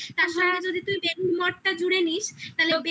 তার সঙ্গে যদি তুই বেলুড় মঠ টা জুড়ে নিস তালে